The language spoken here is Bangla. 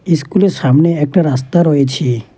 ইস্কুলের স্কুলের সামনে একটা রাস্তা রয়েছে।